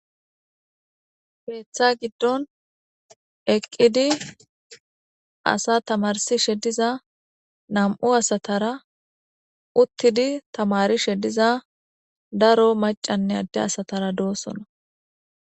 Peeththa giddon eqqidi asa tamarsi shediza nam7u asatara uttidi tamari shediza daro macanne adde asatara doosona.